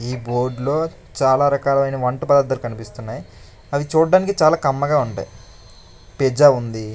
ఈ బోర్డులో చాలా రకాలైన వంట పదార్థాలు కనిపిస్తున్నాయి అవి చూడ్డానికి చాలా కమ్మగా ఉంటాయి పిజ్జా ఉంది.